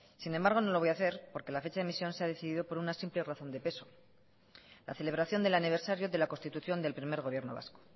sin embargo no lo voy a hacer porque la fecha de emisión se ha decidido por una simple razón de peso la celebración del aniversario de la constitución del primer gobierno vasco